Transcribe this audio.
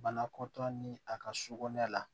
Banakɔtaa ni a ka so kɔnɔna la